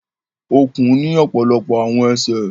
Ọ̀kùn ni ọpọlọpọ àwọn ẹsẹ